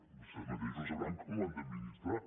vostès mateixos sabran com ho han d’administrar